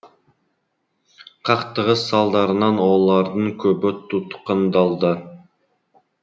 қақтығыс салдарынан олардың көбі тұтқындалды